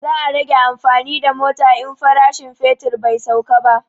Za a rage amfani da mota in farashin fetur bai sauka ba